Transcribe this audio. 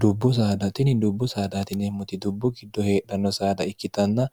dubbu sadtini dubbu saadatineemmot dubbu giddo heedhanno saada ikkitanna